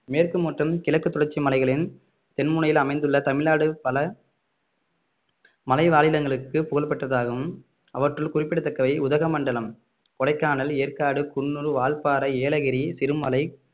மேற்கு மற்றும் கிழக்கு தொடர்ச்சி மலைகளின் தென் முனையில் அமைந்துள்ள தமிழ்நாடு பல மலைவாழிடங்களுக்கு புகழ் பெற்றதாகும் அவற்றில் குறிப்பிடத்தக்கவை உதகமண்டலம் கொடைக்கானல் ஏற்காடு குன்னூர் வால்பாறை ஏலகிரி சிறுமலை